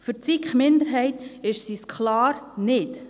Für die SiK-Minderheit ist sie es klar nicht.